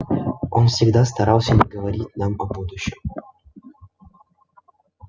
он всегда старался не говорить нам о будущем